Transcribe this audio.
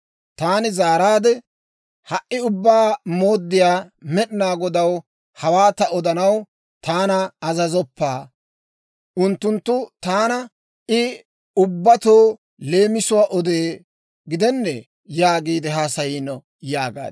Taani zaaraadde, «Ha"i Ubbaa Mooddiyaa Med'inaa Godaw, hawaa ta odanaw taana azazoppa. Unttunttu taana, ‹I ubbatoo leemisuwaa odee gidennee?› yaagiide haasayiino» yaagaad.